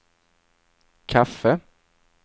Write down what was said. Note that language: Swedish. kaffe